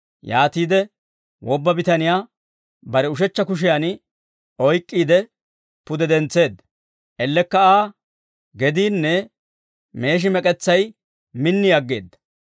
Yaatiide, wobba bitaniyaa bare ushechcha kushiyan oyk'k'iide, pude dentseedda; ellekka Aa gediinne meeshi mek'etsay min aggeedda.